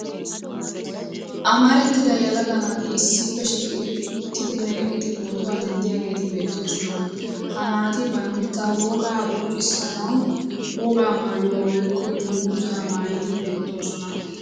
Amarattida yelaga naati issippe shiiqidi uttidinne eqqidi pootuwa denddiyageeti beettoosona. Ha naati banitta wogaa qonccissanawu wogaa maayuwa woyikko dungguzaa maayidi beettoosona.